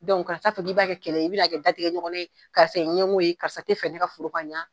kana t'a fɔ k'i b'a kɛ kɛlɛ ye, i bɛna'a kɛ datigɛ ɲɔgɔnna ye, karisa ye ɲɛgo ye karisa ti fɛ ne ka foro ka ɲa